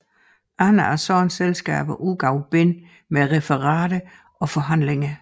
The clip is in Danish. Andre af sådanne selskaber udgav bind med referater og forhandlinger